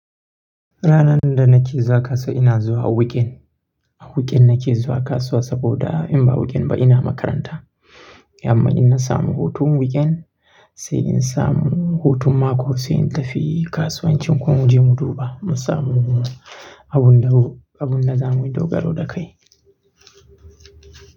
Ranar da nake zuwa kasuwa ina zuwa weekend. Weekend nake zuwa kasuwa saboda in ba weekend ba ina makaranta. Amma in na samu hutun weekend sai in samu hutun mako sai in tafi kasuwancin kun je muduba mun samu abun da mu, abun da za mu dogaro da kai.